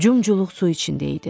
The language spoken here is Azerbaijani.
Cumculuq su içindəydim.